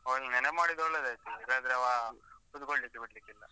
ಓ, ನೀನ್ ನೆನಪ್ಮಾಡಿದ್ ಒಳ್ಳೆದಾಯ್ತು, ಇಲ್ಲಾಂದ್ರೆ ಆವಾ ಕುತ್ಕೊಳ್ಲಿಕ್ಕೆ ಬಿಡ್ಲಿಕ್ಕಿಲ್ಲ.